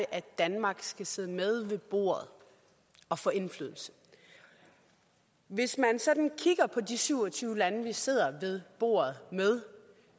at danmark skal sidde med ved bordet og få indflydelse hvis man sådan kigger på de syv og tyve lande vi sidder ved bordet med